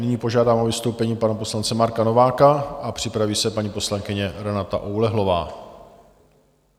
Nyní požádám o vystoupení pana poslance Marka Nováka a připraví se paní poslankyně Renata Oulehlová.